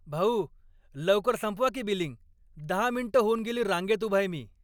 भाऊ, लवकर संपवा की बिलिंग! दहा मिनिटं होऊन गेली रांगेत उभाय मी.